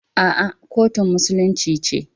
A'a, kotun musulunci ce.